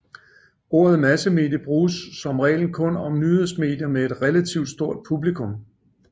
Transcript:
Ordet massemedie bruges som regel kun om nyhedsmedier med et relativ stort publikum